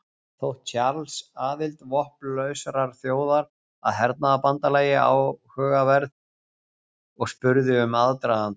Þótti Charles aðild vopnlausrar þjóðar að hernaðarbandalagi áhugaverð og spurði um aðdragandann.